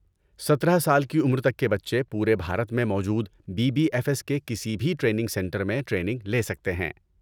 سترہ سال کی عمر تک کے بچے پورے بھارت میں موجود بی بی ایف ایس کے کسی بھی ٹریننگ سنٹر میں ٹریننگ لے سکتے ہیں